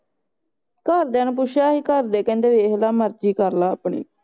ਘਰ ਦਿਆ ਨੂੰ ਪੁੱਛਿਆ ਹੀ ਘਰ ਦੇ ਕਹਿੰਦੇ ਵੇਖਲਾ ਮਰਜ਼ੀ ਕਰ ਲੈ ਆਪਣੀ